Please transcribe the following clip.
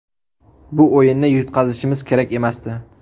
Bu o‘yinda yutqazishimiz kerak emasdi.